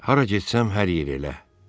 Hara getsəm hər yer elə.